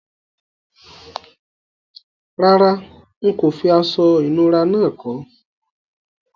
Rárá, n kò fi aso ìnura náà ko